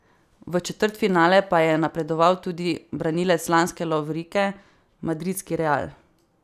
V četrtfinale pa je napredoval tudi branilec lanske lovorike, madridski Real.